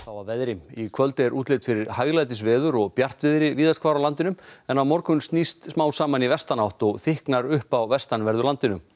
að veðri í kvöld er útlit fyrir hæglætisveður og bjartviðri víðast hvar á landinu en á morgun snýst smám saman í vestanátt og þykknar upp á vestanverðu landinu